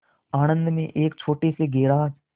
आणंद में एक छोटे से गैराज